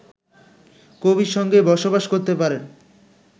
কবির সঙ্গেই বসবাস করতে পারেন